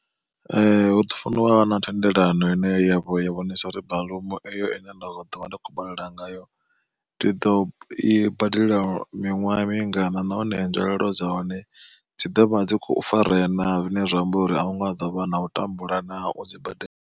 Hu ḓi funa uvha na thendelano ine yavha ya vhonisa uri baḽumu eyo ine nda ḓovha ndi khou badela ngayo, ndi ḓo i badela miṅwaha mingana nahone nzwalelo dza hone dzi ḓovha dzi kho farea naa zwine zwa amba uri ahu nga ḓovha na u tambula naa u dzi badela.